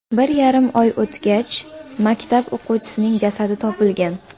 Bir yarim oy o‘tgach, maktab o‘quvchisining jasadi topilgan.